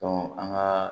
an ka